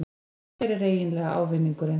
Hver er eiginlega ávinningurinn?